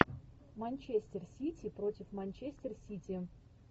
манчестер сити против манчестер сити